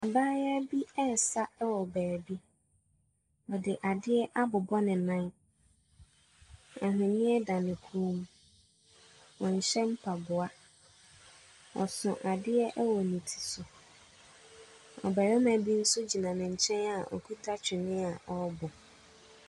Mmaayaa bi resa wɔ baabi. Ↄde adeɛ abobɔ ne nan, ahwenneɛ da ne kɔn mu. Ↄnhyɛ mpaboa, ɔso adeɛ wɔ ne ti so. Ↄbarima bi nso gyina ne nkyɛn a ɔkuta twene a ɔrebɔ.